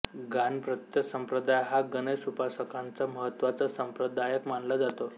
गाणपत्य संप्रदाय हा गणेश उपासकांचा महत्त्वाचा संप्रदाय मानला जातो